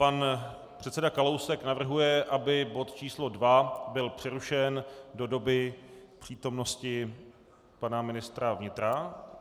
Pan předseda Kalousek navrhuje, aby bod číslo 2 byl přerušen do doby přítomnosti pana ministr vnitra.